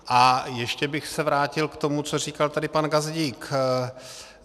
A ještě bych se vrátil k tomu, co říkal tady pan Gazdík.